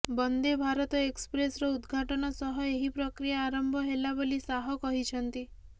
ବନ୍ଦେ ଭାରତ ଏକ୍ସପ୍ରେସ୍ର ଉଦ୍ଘାଟନ ସହ ଏହି ପ୍ରକ୍ରିୟା ଆରମ୍ଭ ହେଲା ବୋଲି ଶାହ କହିଛନ୍ତି